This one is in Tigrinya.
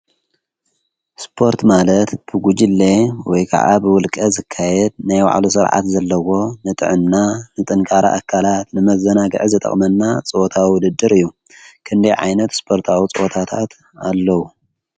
ስፖርት ማለት ብጉጅለ ወይ ከዓ ብውልቀ ዝካየድ ናይ ባዕሉ ስርዓት ዘለዎ ንጥዕና፣ ንጥንካረ ኣካላት፣ ንመዘናጊዒ ዝጠቅመና ፀወታ ውድድር እዩ። ክንደይ ዓይነት ስፖርታዊ ፀወታታት አለው?